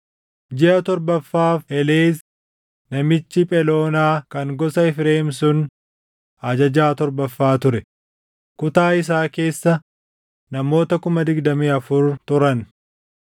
Jiʼa torbaffaaf Heleez namichi Pheloonaa kan gosa Efreem sun ajajaa torbaffaa ture. Kutaa isaa keessa namoota 24,000 turan.